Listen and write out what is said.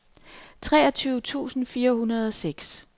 treogtyve tusind fire hundrede og seks